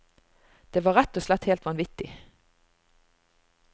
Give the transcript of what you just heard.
Det var rett og slett helt vanvittig.